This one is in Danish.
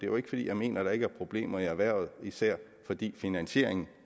jo ikke fordi jeg mener der ikke er problemer i erhvervet især fordi finansieringen